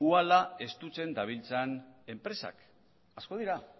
uhala estutzen dabiltzan enpresak asko dira